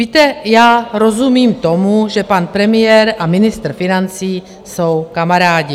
Víte, já rozumím tomu, že pan premiér a ministr financí jsou kamarádi.